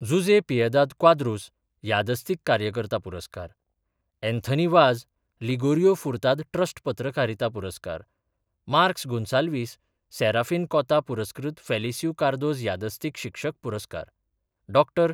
जुजे पियेदाद क्वाद्रूस यादस्तीक कार्यकर्ता पुरस्कार अँथनी वाज, लिगोरियो फुर्ताद ट्रस्ट पत्रकारिता पुरस्कार मार्कस गोन्साल्वीस, सॅराफीन कॉता पुरस्कृत फॅलिस्यु कार्दोज यादस्तीक शिक्षक पुरस्कार डॉ.